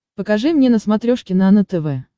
покажи мне на смотрешке нано тв